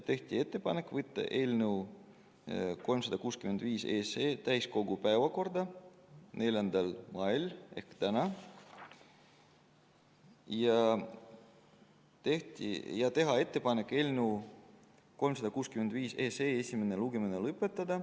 Tehti ettepanek võtta eelnõu 365 täiskogu päevakorda 4. mail ehk täna ja teha ettepanek eelnõu 365 esimene lugemine lõpetada.